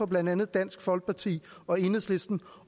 blandt andet dansk folkeparti og enhedslisten